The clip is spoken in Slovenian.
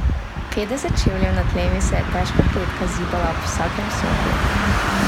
Petdeset čevljev nad tlemi se je težka kletka zibala ob vsakem sunku.